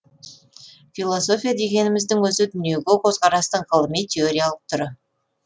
философия дегеніміздің өзі дүниеге көзқарастың ғылыми теориялық түрі